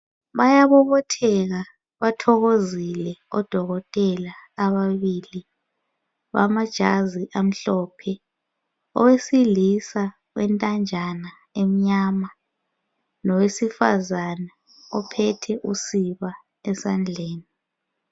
Bayabobotheka bathokozile odokotela ababili bamajazi amhlophe owesilisa wentanjana emnyama lowesifazana ophethe usiba esandleni.